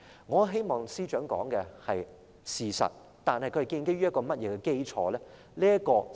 我希望司長說的是事實，但他的說法建基於甚麼基礎呢？